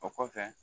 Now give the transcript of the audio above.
O kɔfɛ